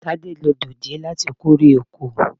Tádé lo dòjé láti kórè oko.